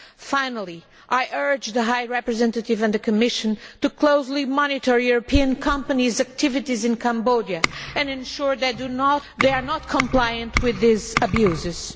Finally, I urge the High Representative and the Commission to closely monitor European companies' activities in Cambodia and ensure that they are not compliant with these abuses.